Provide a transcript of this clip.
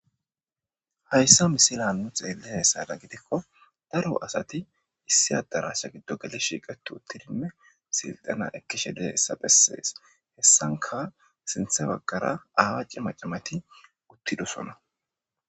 Hayssa misilan nu xelliyayssadan gidikko daro asati issi adarasha giddo geli shiiqeti uttidinne silxena ekkishe de'iyayssa besses heyssanka sintha baggara aaawa cima cimati uttidoson.